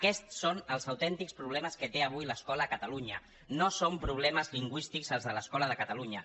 aquests són els autèntics problemes que té avui l’escola a catalunya no són problemes lingüístics els de l’escola de catalunya